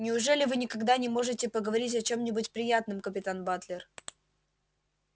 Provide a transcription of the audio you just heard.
неужели вы никогда не можете поговорить о чём-нибудь приятном капитан батлер